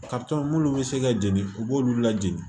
minnu bɛ se ka jeni u b'olu lajigin